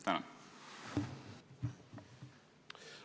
Tänan!